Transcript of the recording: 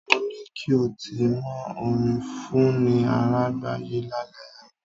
Mo ní kí o ti mọ orin Fúnni Àrágbayé lálẹ́ àná.